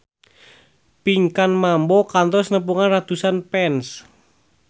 Pinkan Mambo kantos nepungan ratusan fans